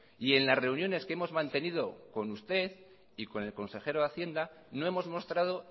y en las reuniones que hemos mantenido con usted y con el consejero de hacienda no hemos mostrado